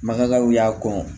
Magaw y'a kɔ